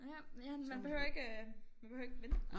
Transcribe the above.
Ja men ja han behøver ikke øh man behøver ikke vende